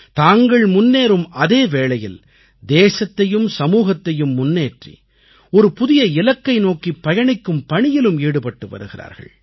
தாங்கள் முன்னேறும் அதே வேளையில் தேசத்தையும் சமூகத்தையும் முன்னேற்றி ஒரு புதிய இலக்கை நோக்கிப் பயணிக்கும் பணியிலும் ஈடுபட்டு வருகிறார்கள்